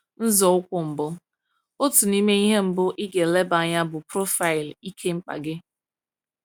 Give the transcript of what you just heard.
Nzọụkwụ Mbụ — Otu n’ime ihe mbụ ị ga-eleba anya bụ profaịlụ ike mkpa gị.